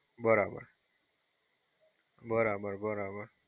બરાબર-બરાબર